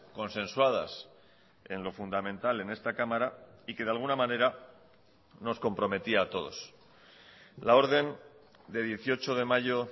consensuadas en lo fundamental en esta cámara y que de alguna manera nos comprometía a todos la orden de dieciocho de mayo